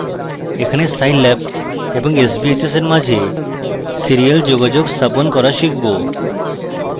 এখানে scilab এবং sbhs in মাঝে serial যোগাযোগ স্থাপন করা scilab